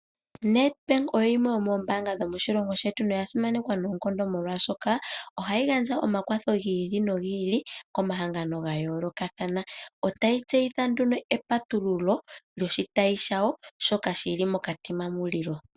Nedbank oyo oyimwe yomoombaanga dhomoshilongo shetu noya simanekwa noonkondo molwaashoka ohayi gandja omakwatho gi ili nogi ili komahangano ga yoolokathana. Otayi tseyitha nduno epatululo lyoshitayi shayo shoka shi li moKatima Mulilo.